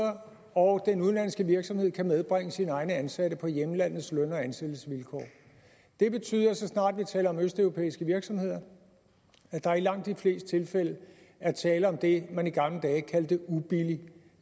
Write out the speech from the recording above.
og den udenlandske virksomhed kan medbringe sine egne ansatte på hjemlandets løn og ansættelsesvilkår det betyder så snart vi taler om østeuropæiske virksomheder at der i langt de fleste tilfælde er tale om det man i gamle dage kaldte ubillig